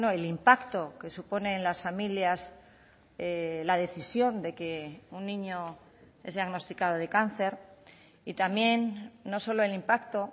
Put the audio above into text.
el impacto que supone en las familias la decisión de que un niño es diagnosticado de cáncer y también no solo el impacto